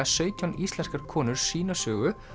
sautján íslenskar konur sína sögu